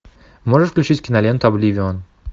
можешь включить киноленту обливион